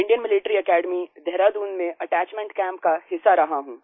Indian Military Academy Dehradun में attachment camp का हिस्सा रहा हूँ